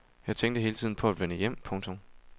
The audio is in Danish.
Jeg tænkte hele tiden på at vende hjem. punktum